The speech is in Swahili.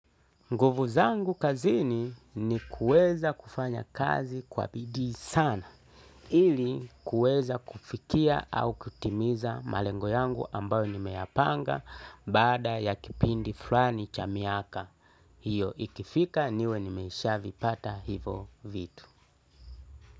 Nguvu zangu kazini ni kuweza kufanya kazi kwa bidii sana ili kuweza kufikia au kutimiza malengo yangu ambayo ni meyapanga baada ya kipindi fulani chamiaka. Hiyo ikifika niwe ni meshaavi pata hivo vitu.